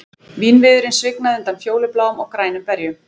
Vínviðurinn svignaði undan fjólubláum og grænum berjum